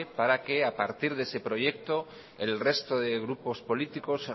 para que a partir de ese proyecto el resto de grupos políticos